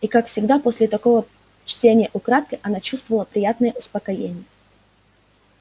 и как всегда после такого чтения украдкой она чувствовала приятное успокоение